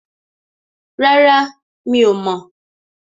Rárá, Mi ò mọ̀.